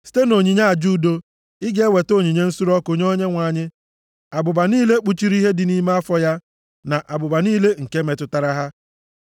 Site nʼonyinye aja udo, ị ga-eweta onyinye nsure ọkụ nye Onyenwe anyị: abụba niile kpuchiri ihe dị nʼime afọ ya, na abụba niile nke metụtara ha,